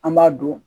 An b'a don